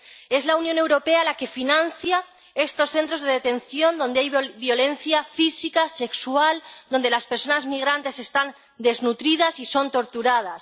Es la Unión Europea la que financia estos centros de detención donde hay violencia física y sexual, donde las personas migrantes están desnutridas y son torturadas.